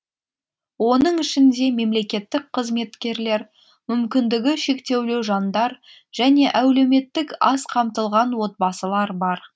оның ішінде мемлекеттік қызметкерлер мүмкіндігі шектеулі жандар және әулеметтік аз қамтылған отбасылар бар